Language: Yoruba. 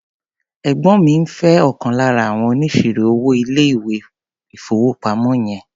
Ẹ̀gbọ́ mi ń fé ọ̀kan lára àwọn oníṣirò-owó ilé-ìfowópamọ́ yẹn.